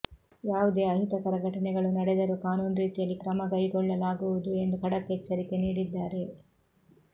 ಯಾವುದೇ ಅಹಿತಕರ ಘಟನೆಗಳು ನಡೆದರೂ ಕಾನೂನು ರೀತಿಯಲ್ಲಿ ಕ್ರಮಕೈಗೊಳ್ಳಲಾಗುವುದು ಎಂದು ಖಡಕ್ ಎಚ್ಚರಿಕೆ ನೀಡಿದ್ದಾರೆ